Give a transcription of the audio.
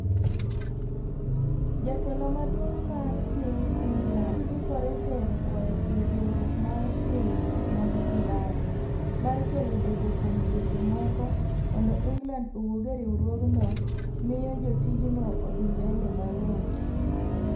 Jatelo maduong' mar ping England ikore tero kwayo ir riwruok mar pinje mag ulaya. mar kelo deko kuom dweche moko, mondo england owuog e riwruogno miyo tijno odhi mbele mayot